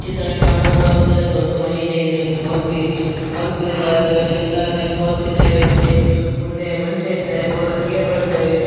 ಈ ಚಿತ್ರದಲ್ಲಿ ಕಂಡುಬುರುವುದೆನೆಂದರೆ ದೊಡ್ಡ ಮನೆ ಇದೆ ಇದರಲ್ಲಿ ಬಲ್ಬುಗಳು ಇದ್ದಾವೆ ಲೈಟ್‌ ಬಲ್ಬುಗಳು ಇದ್ದಾವೆ ಮತ್ತೆ ಮುಂದೆ ಮನುಷ್ಯ ಇದ್ದಾರೆ ಬಹಳ ಚೇರ್‌ ಗಳು ಇದ್ದಾವೆ.